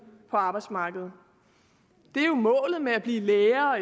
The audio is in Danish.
på arbejdsmarkedet det er jo målet med at blive læge